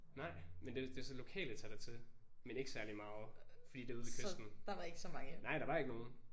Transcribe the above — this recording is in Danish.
Nej men det det er så lokale tager dertil men ikke særlig meget fordi det ude ved kysten. Nej der var ikke nogen